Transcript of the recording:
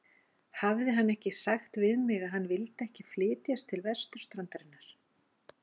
Hafði hann ekki sagt við mig, að hann vildi alls ekki flytjast til vesturstrandarinnar?